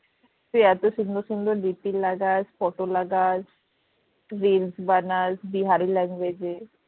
তুই এত সুন্দর সুন্দর DP লাগাস photo লাগাস reels বানাস বিহারি language এ